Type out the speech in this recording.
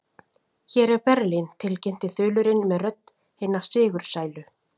Hér er Berlín tilkynnti þulurinn með rödd hinna sigursælu.